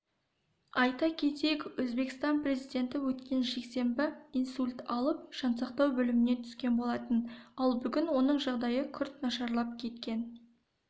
айта кетейік өзбекстан президенті өткен жексенбі инсульт алып жансақтау бөліміне түскен болатын ал бүгін оның жағдайы күрт нашарлап кеткен